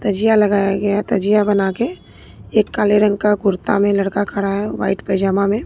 तजिया लगाया गया है तजिया बना के एक काले रंग का कुर्ता में लड़का खड़ा है व्हाइट पाइजामा में।